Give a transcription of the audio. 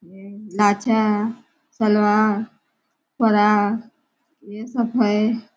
ये सलवार फ्रॉक ये सब है।